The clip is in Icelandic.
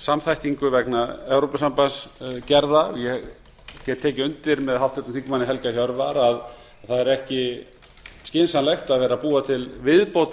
samþættingu vegna evrópusambandsgerða ég get tekið undir með háttvirtum þingmanni helga hjörvar að það er ekki skynsamlegt að vera að búa til viðbótarhindranir með